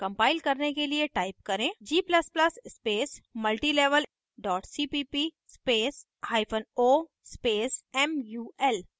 compile करने के लिए type करें g ++ space multilevel cpp spaceo space mul